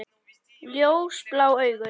Ljósblá augu.